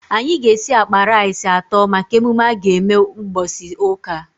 Anyị ga esi akpa rice atọ maka emume aga eme mgbọsị ụka